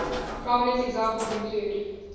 prominent examples include